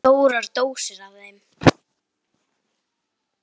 Stórar dósir af þeim.